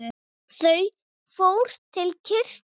Þau fór til kirkju.